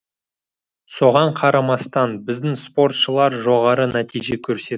соған қарамастан біздің спортшылар жоғары нәтиже көрсет